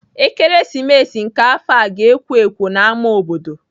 Ekeresimesi nke afọ ga-ekwo ekwo n'ámá obodo.